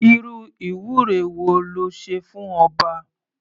Irú ìwúre wo le ṣe fún ọba?